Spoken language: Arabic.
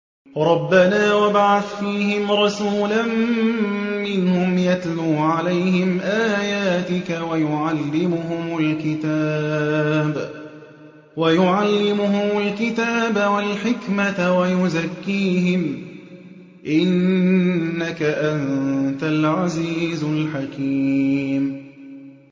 رَبَّنَا وَابْعَثْ فِيهِمْ رَسُولًا مِّنْهُمْ يَتْلُو عَلَيْهِمْ آيَاتِكَ وَيُعَلِّمُهُمُ الْكِتَابَ وَالْحِكْمَةَ وَيُزَكِّيهِمْ ۚ إِنَّكَ أَنتَ الْعَزِيزُ الْحَكِيمُ